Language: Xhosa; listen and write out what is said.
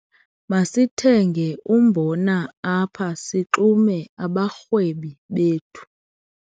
Masithenge umbona apha sixume abarhwebi bethu.